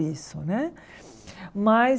Isso né mas